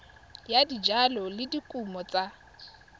ya dijalo le dikumo tsa